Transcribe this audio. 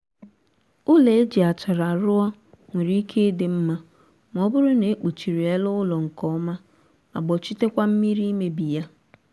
ụlọ e ji achara ruo nwere ike ịdị nma ma ọ bụrụ na e kpuchiri ele ụlọ nkọma ma gbochitekwa mmiri imebi ya